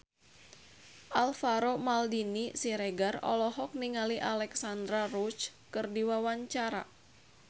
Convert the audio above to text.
Alvaro Maldini Siregar olohok ningali Alexandra Roach keur diwawancara